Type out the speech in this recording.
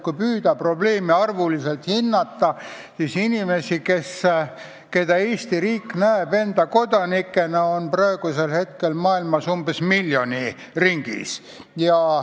Kui püüda probleemi suurust arvuliselt hinnata, siis tuleb öelda, et inimesi, keda Eesti riik näeb enda kodanikena, on praegu maailmas miljoni ringis.